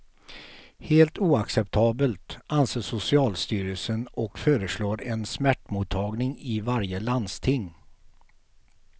Helt oacceptabelt, anser socialstyrelsen och föreslår en smärtmottagning i varje landsting.